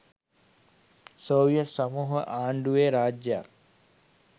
Soviet සමූහාණ්‌ඩුවේ රාජ්‍යයක්